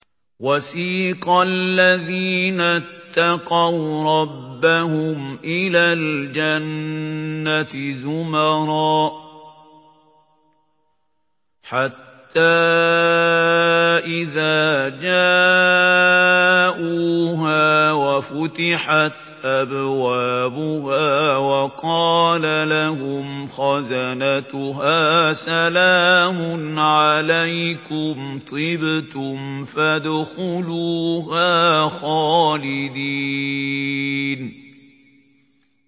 وَسِيقَ الَّذِينَ اتَّقَوْا رَبَّهُمْ إِلَى الْجَنَّةِ زُمَرًا ۖ حَتَّىٰ إِذَا جَاءُوهَا وَفُتِحَتْ أَبْوَابُهَا وَقَالَ لَهُمْ خَزَنَتُهَا سَلَامٌ عَلَيْكُمْ طِبْتُمْ فَادْخُلُوهَا خَالِدِينَ